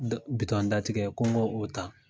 dɔ datigɛ ko n k'o ta.